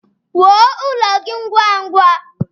Wuo ụlọ gị ngwá ngwá